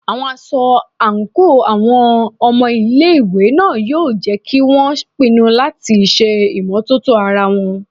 Aṣọ àǹkóò àwọn ọmọ ilé ìwé náà yóò jẹ́ kí won pinu láti ṣe ìmọ́tótó ara wọn.